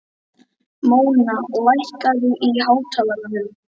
Móna, lækkaðu í hátalaranum.